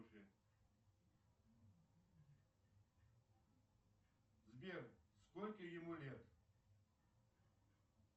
сбер сколько ему лет